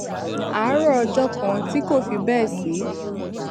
àárò ọjó kan tí kò fi béè sí